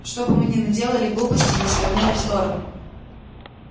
чтобы мы не наделали глупостей и не свернули в сторону